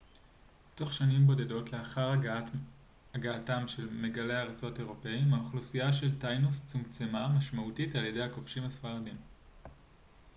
תוך שנים בודדות לאחר הגעתם של מגלי ארצות אירופאיים האוכלוסייה של טיינוס צומצמה משמעותית על ידי הכובשים הספרדים